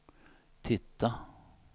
titta